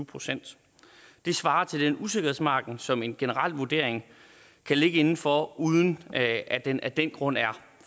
procent det svarer til den usikkerhedsmargin som en generel vurdering kan ligge inden for uden at at den af den grund er